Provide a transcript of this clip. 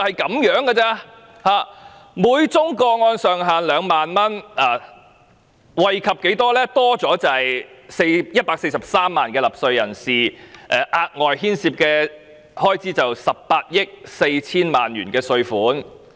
現時每宗個案上限2萬元，措施可以多惠及143萬納稅人，牽涉額外開支18億 4,000 萬元稅款。